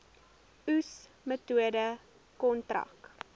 oes metode kontrak